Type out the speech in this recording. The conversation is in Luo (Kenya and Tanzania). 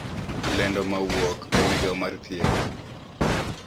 Lendo mawuok e migao mar thieth